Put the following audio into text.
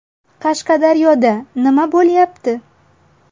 Qashqadaryoda nima bo‘lyapti?.